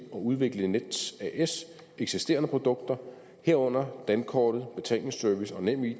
udvikle nets eksisterende produkter herunder dankortet betalingsservice og nemid